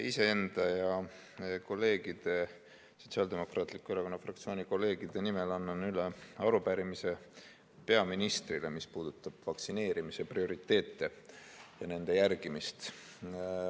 Iseenda ja Sotsiaaldemokraatliku Erakonna fraktsiooni kolleegide nimel annan üle arupärimise peaministrile, mis puudutab vaktsineerimise prioriteete ja nende järgimist.